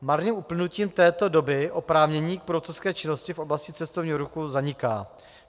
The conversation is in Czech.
Marným uplynutím této doby oprávnění k průvodcovské činnosti v oblasti cestovního ruchu zaniká.